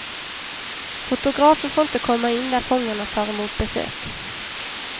Fotografer får inte komma in där fångarna tar emot besök.